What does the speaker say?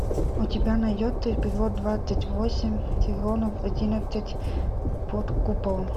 у тебя найдется эпизод двадцать восемь сезон одиннадцать под куполом